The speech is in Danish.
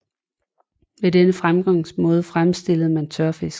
Ved denne fremgangsmåde fremstillede man tørfisk